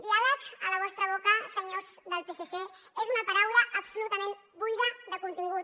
diàleg a la vostra boca senyors del psc és una paraula absolutament buida de contingut